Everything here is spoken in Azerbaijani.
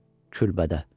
Külbədə.